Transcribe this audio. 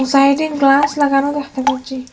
Sliding glass লাগানো দেখতে পাচ্ছি।